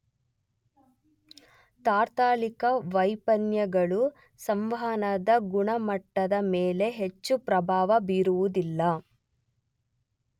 ತಾತ್ಕಾಲಿಕ ವೈಫಲ್ಯಗಳು ಸಂವಹನದ ಗುಣಮಟ್ಟದ ಮೇಲೆ ಹೆಚ್ಚು ಪ್ರಭಾವ ಬೀರುವುದಿಲ್ಲ.